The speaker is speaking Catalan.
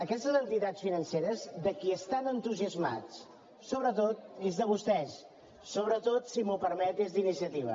aquestes entitats financeres de qui estan entusiasmats sobretot és de vostès sobretot si m’ho permet és d’iniciativa